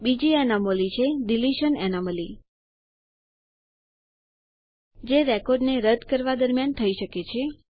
બીજી એનોમલી છે deletion anomaly જે રેકોર્ડને રદ્દ કરવા દરમ્યાન થઇ શકે છે